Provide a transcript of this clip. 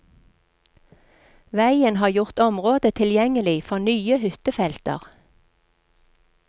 Veien har gjort området tilgjengelig for nye hyttefelter.